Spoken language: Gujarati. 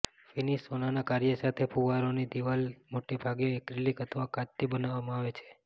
ફિનિશ સોનાના કાર્ય સાથે ફુવારોની દીવાલની દિવાલો મોટેભાગે એક્રેલિક અથવા કાચથી બનાવવામાં આવે છે